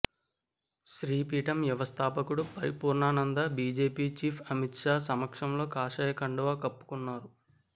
శ్రీపీఠం వ్యవస్థాపకుడు Paripoornananda BJP chief Amit Shah సమక్షంలో కాషాయ కండువా కప్పుకున్నారు